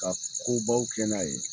Ka ko baw kɛ n'a ye